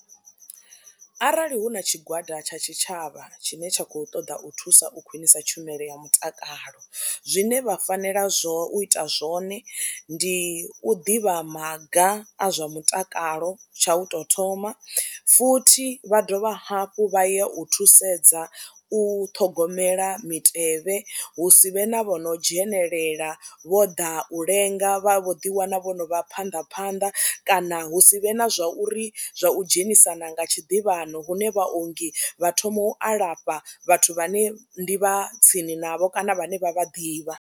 Arali hu na tshigwada tsha tshitshavha tshine tsha khou ṱoḓa u thusa u khwinisa tshumelo ya mutakalo zwine vha fanela zwo u ita zwone ndi u ḓivha maga a zwa mutakalo, tsha u tou thoma futhi vha dovha hafhu vha ya u thusedza u ṱhogomela mitevhe hu si vhe na vho no dzhenelela vho ḓa u lenga vha vho ḓiwana vho no vha phanḓa phanḓa kana hu si vhe na zwa uri zwa u dzhenisana nga tshiḓivhano hune vhaongi vha thoma u alafha vhathu vhane ndi vha tsini navho kana vhane vha vha ḓivha.